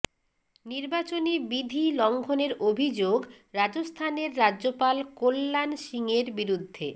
নির্বাচনী বিধি লঙ্ঘনের অভিযোগ রাজস্থানের রাজ্যপাল কল্যাণ সিঙের বিরুদ্ধে